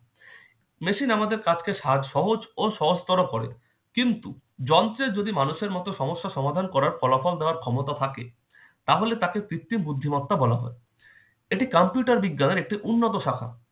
machine আমাদের কাজকে সাজ~ সহজ ও সহজতর করে। কিন্তু যন্ত্রের যদি মানুষের মত সমস্যা সমাধান করার ফলাফল দেওয়ার ক্ষমতা থাকে তাহলে তাকে কৃত্রিম বুদ্ধিমত্তা বলা হয়। এটি computer বিজ্ঞানের একটি উন্নত শাখা।